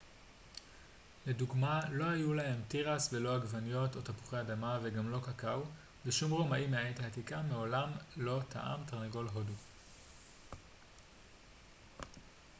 לדוגמה לא היו להם תירס ולא עגבניות או תפוחי אדמה וגם לא קקאו ושום רומאי מהעת העתיקה מעולם לא טעם תרנגול הודו